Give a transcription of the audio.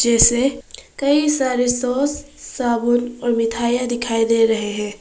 जैसे कई सारे शोस साबुन और मिठाइयां दिखाई दे रहे हैं।